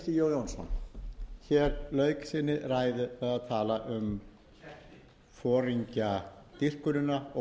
jónsson lauk sinni ræðu á að tala um foringjadýrkunina og